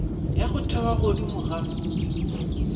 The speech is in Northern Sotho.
ya go thewa godimo ga